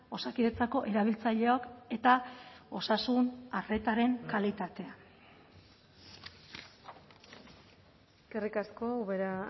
osakidetzako erabiltzaileok eta osasun arretaren kalitatea eskerrik asko ubera